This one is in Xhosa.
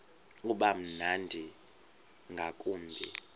uba mnandi ngakumbi